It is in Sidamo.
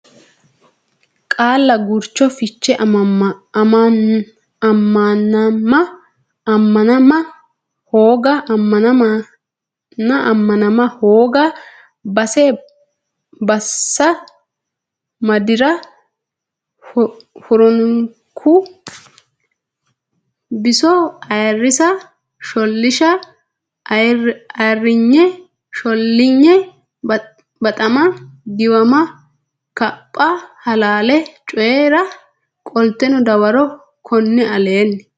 Qaalla Gurcho fiche ammanama ammanama hooga bassa madi re hurinokki biso ayirrisa shollisha ayirrinye shollinye baxama giwama kapha halaale coyi ra qoltino dawaro konni aleenni.